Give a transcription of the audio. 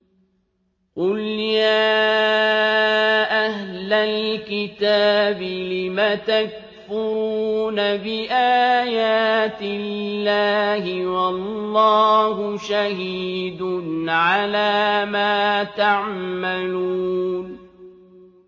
قُلْ يَا أَهْلَ الْكِتَابِ لِمَ تَكْفُرُونَ بِآيَاتِ اللَّهِ وَاللَّهُ شَهِيدٌ عَلَىٰ مَا تَعْمَلُونَ